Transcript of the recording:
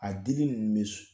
A dili in bɛ